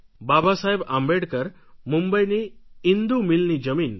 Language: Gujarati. બાબા સાહેબ આંબેડકર મુંબઈની ઇંદૂ મિલની જમીન